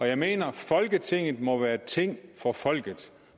jeg mener at folketinget må være et ting for folket